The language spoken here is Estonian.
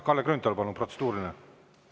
Kalle Grünthal, palun protseduuriline küsimus.